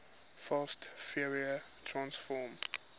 fast fourier transform